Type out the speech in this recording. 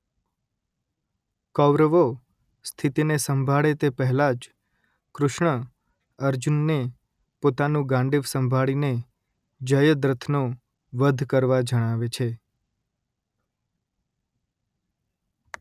કૌરવો સ્થિતીને સંભાળે તે પહેલાં જ કૃષ્ણ અર્જુનને પોતાનું ગાંડીવ સંભાળી ને જયદ્રથનો વધ કરવા જણાવે છે